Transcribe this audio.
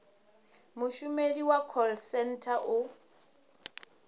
mushumeli wa call centre u